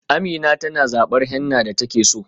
Amina tana zabar henna da take so.